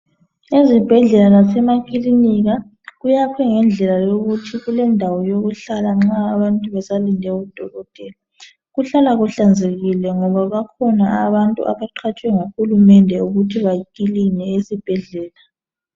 Ezibhedlela lasemakilinika kuyakhwe ngendlela yikuthi kulendawo yokuhlala nxa abantu besalinde udokotela. Kuhlala kuhlanzekile ngoba kukhona abantu abaqhatshwe nguhulumende ukuthi bakiline esibhedlela.